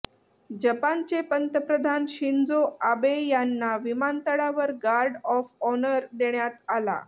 जपानचे पंतप्रधान Shinzo Abe यांना विमानतळावर गार्ड ऑफ ऑनर देण्यात आला